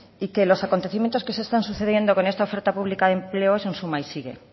y que los acontecimientos que se están sucediendo con esta oferta pública de empleo es un suma y sigue